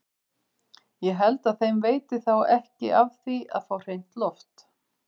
Ég held að þeim veiti þá ekki af því að fá hreint loft!